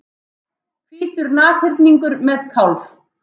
Hvítur nashyrningur með kálf.